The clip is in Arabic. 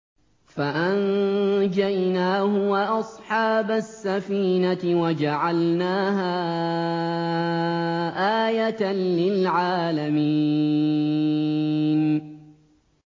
فَأَنجَيْنَاهُ وَأَصْحَابَ السَّفِينَةِ وَجَعَلْنَاهَا آيَةً لِّلْعَالَمِينَ